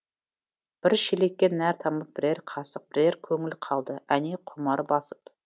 бір шелекке нәр тамып бірер қасық бірер көңіл қалды әне құмар басып